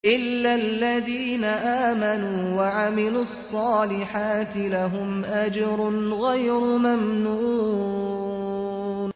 إِلَّا الَّذِينَ آمَنُوا وَعَمِلُوا الصَّالِحَاتِ لَهُمْ أَجْرٌ غَيْرُ مَمْنُونٍ